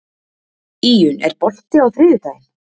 Íunn, er bolti á þriðjudaginn?